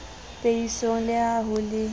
peisong le ha ho le